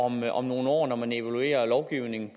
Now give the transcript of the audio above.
mig om nogle år når man evaluerer lovgivningen